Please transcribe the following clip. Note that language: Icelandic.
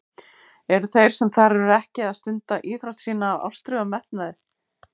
Eru þeir sem þar eru ekki að stunda íþrótt sína af ástríðu og metnaði?